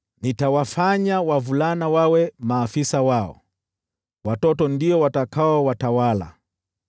Nitawafanya wavulana wawe maafisa wao, watoto ndio watakaowatawala.